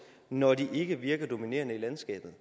når de ikke virker dominerende i landskabet